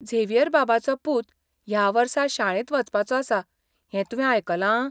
Xavier बाबाचो पूत ह्या वर्सा शाळेंत वचपाचो आसा हें तुवें आयकलां?